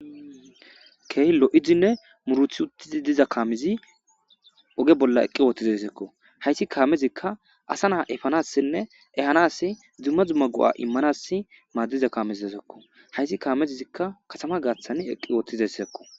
Keehi lo'idinne muuruti uttiza kaamezi oge bolla uttizayssako. Ha kaamezika asa na'a efanassinne ehanaaas maadees. hayis kamezi katama gathani eqi utides